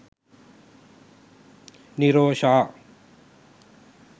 nirosha